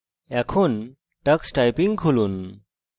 tux typing খুলুন